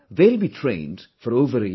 They will be trained for over a year